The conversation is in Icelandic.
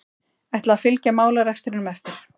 Ætla að fylgja málarekstrinum eftir